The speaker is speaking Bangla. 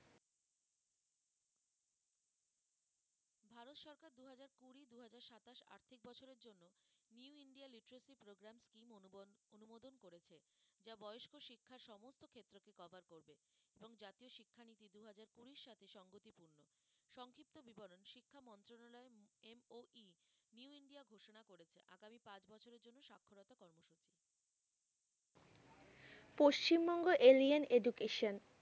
Paschimbanga alien education